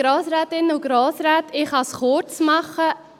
Ich kann es kurz machen.